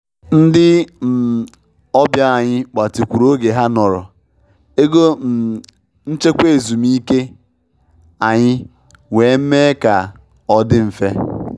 Ndị um ọbịa anyị gbatịkwuru oge ha nọrọ, ego um nchekwa ezumike anyị wee mee ka um ọ dị mfe